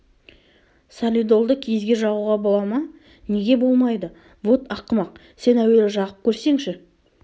солидолды киізге жағуға бола ма неге болмайды вот ақымақ сен әуелі жағып көрсеңші